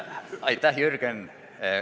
Aitäh, Jürgen!